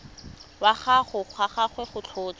wa ga gagwe go tlhotswe